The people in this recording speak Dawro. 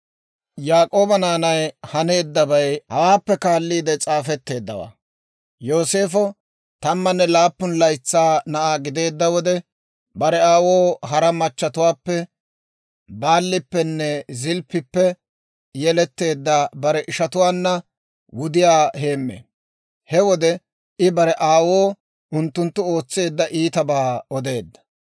Yaak'ooba naanay haneeddabay hawaappe kaalliide s'aafetteeddawaa. Yooseefo tammanne laappun laytsaa na'aa gideedda wode, bare aawoo hara machchetuwaappe, Baalippenne Zilppippe yeletteedda bare ishatuwaanna wudiyaa heeme. He wode I bare aawoo unttunttu ootseedda iitabaa odeedda.